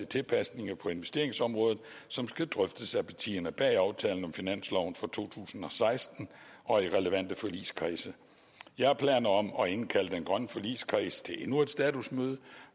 tilpasninger på investeringsområdet som skal drøftes af partierne bag aftalen om finansloven for to tusind og seksten og i relevante forligskredse jeg har planer om at indkalde den grønne forligskreds til endnu et statusmøde